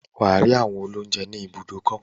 Wà á rí àwọn olóúńjẹ ní ibùdókọ̀.